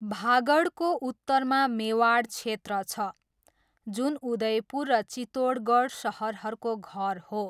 भागडको उत्तरमा मेवाड क्षेत्र छ, जुन उदयपुर र चितोडगढ सहरहरूको घर हो।